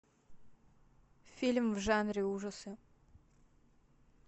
фильм в жанре ужасы